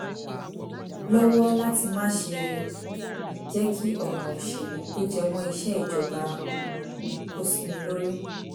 lọ́wọ́ láti má ṣe jẹ́ kí ọ̀ràn ìṣèlú tó jẹ mọ́ iṣẹ́ ìjọba um kó sí mi lórí